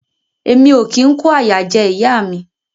Emi o kin ko àyà jẹ ìyá mi.